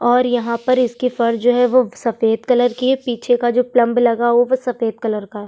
और यहाँ पर इसके फर जो है वो सफेद कलर के हैं पीछे का जो प्लंब लगा हुआ है ओ भी सफेद कलर का है।